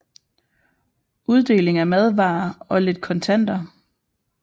Uddeling af madvarer og lidt kontanter